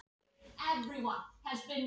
Þetta er bara byrjunin, segir Edda.